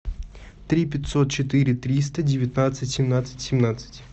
три пятьсот четыре триста девятнадцать семнадцать семнадцать